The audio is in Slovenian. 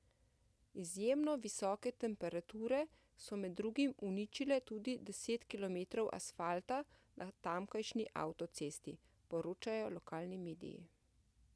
Izjemno visoke temperature so med drugim uničile tudi deset kilometrov asfalta na tamkajšnji avtocesti, poročajo lokalni mediji.